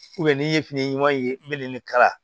n'i ye fini ɲuman ye n bɛ nin kala